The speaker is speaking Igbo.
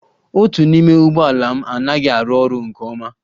Otu n'ime ụgbọ ala m anaghị arụ ọrụ nke ọma